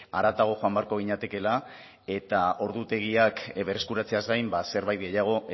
haratago joan beharko ginatekeela eta ordutegiak berreskuratzeaz gain ba zerbait gehiago